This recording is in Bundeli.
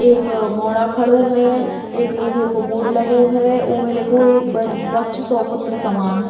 एक मोरा खड़ो है। एक लोहे को बोर्ड लगो है उमैं लिखो है एक वर्क्ष सौ पुत्र समान।